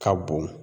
Ka bon